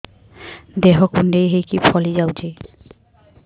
ଦେହ କୁଣ୍ଡେଇ ହେଇକି ଫଳି ଯାଉଛି